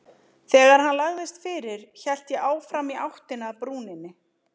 Þegar hann lagðist fyrir hélt ég áfram í áttina að brúninni.